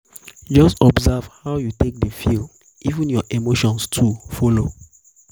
jus observe how yu take dey feel even yur emotion too follow